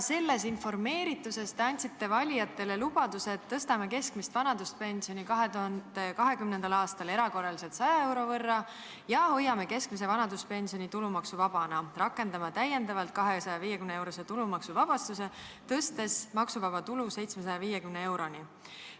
Sellest informeeritusest tulenevalt te andsite valijatele lubaduse, et tõstate keskmist vanaduspensioni 2020. aastal erakorraliselt 100 euro võrra ja hoiate keskmise vanaduspensioni tulumaksuvabana, rakendate täiendavalt 250-eurose tulumaksuvabastuse, tõstes maksuvaba tulu 750 euroni.